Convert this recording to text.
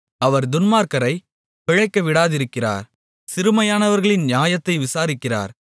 அவர் துன்மார்க்கரைப் பிழைக்க விடாதிருக்கிறார் சிறுமையானவர்களின் நியாயத்தை விசாரிக்கிறார்